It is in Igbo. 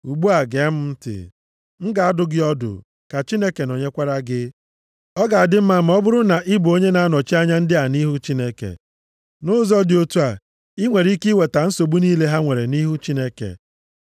Ugbu a, gee m ntị. M ga-adụ gị ọdụ, ka Chineke nọnyekwara gị. Ọ ga-adị mma ma ọ bụrụ na ị bụ onye na-anọchi anya ndị a nʼihu Chineke. Nʼụzọ dị otu a, i nwere ike iweta nsogbu niile ha nwere nʼihu Chineke.